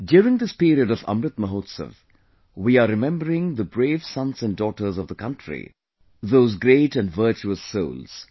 during this period of Amrit Mahotsav, we are remembering the brave sons and daughters of the country, those great and virtuous souls